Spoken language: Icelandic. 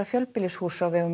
fjölbýlishúss á vegum